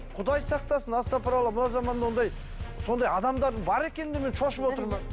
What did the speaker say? құдай сақтасын асапыралла мына заманда ондай сондай адамдардың бар екеніне мен шошып отырмын